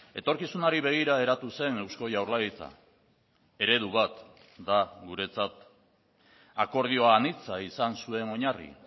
etorkizunari begira eratu zen eusko jaurlaritza eredubat da guretzat akordioa anitza izan zuen oinarri